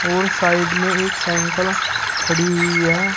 और साइड में एक साइकिल खड़ी हुई है।